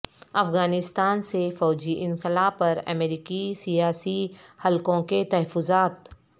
افغانستان سے فوجی انخلا پر امریکی سیاسی حلقوں کے تحفظات